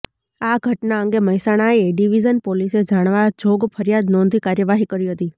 આ ઘટના અંગે મહેસાણા એ ડિવજન પોલીસે જાણવા જોગ ફરિયાદ નોંધી કાર્યવાહી કરી હતી